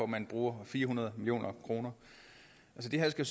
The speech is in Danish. man bruger fire hundrede million kroner det her skal